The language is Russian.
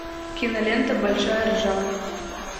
кинолента большая ржака